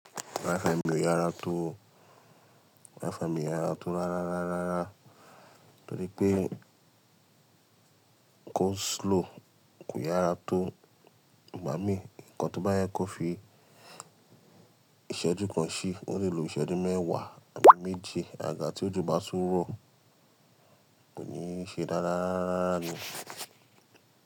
Wifi mi òyára tó, wifi mi òyára tó rárá rárá rárá torí pé kó slow kò yára tó. Gba mi nǹkan tó bá yẹ kó fi ìṣẹ́jú kan sí o lè lo ìṣẹ́jú mẹ́wàá àbí méji. Àgaga tí òjò bá tún rọ̀ kò ní ṣe dáradára ni.